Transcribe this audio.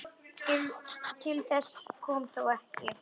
Til þess kom þó ekki.